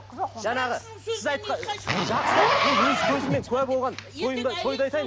жаңағы сіз айтқан жақсылап мен өз көзіммен куә болған тойымды тойды айтайын